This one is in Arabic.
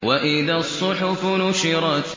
وَإِذَا الصُّحُفُ نُشِرَتْ